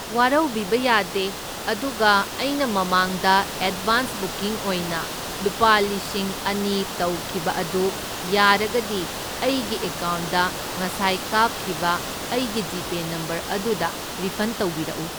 ꯋꯥꯔꯧꯕꯤꯕ ꯌꯥꯗꯦ, ꯑꯗꯨꯒ ꯑꯩꯅ ꯃꯃꯥꯡꯗ ꯑꯦꯗꯕꯥꯟꯁ ꯕꯨꯀꯤꯡ ꯑꯣꯏꯅ ꯂꯨꯄꯥ ꯂꯤꯁꯤꯡ ꯑꯅꯤ ꯇꯧꯈꯤꯕ ꯑꯗꯨ ꯌꯥꯔꯒꯗꯤ ꯑꯩꯒꯤ ꯑꯦꯀꯥꯎꯟꯗ ꯉꯁꯥꯏ ꯀꯥꯞꯈꯤꯕ ꯑꯩꯒꯤ ꯖꯤꯄꯦ ꯅꯝꯕꯔ ꯑꯗꯨꯗ ꯔꯤꯐꯟ ꯇꯧꯕꯤꯔꯛꯎ꯫